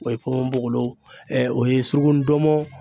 O ye ponponpoolon ɛɛ o ye suruku ndɔnmɔn